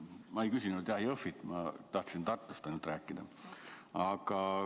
Ma ei küsinud Jõhvi kohta, ma tahtsin ainult Tartust rääkida.